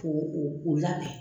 Ko o labɛn.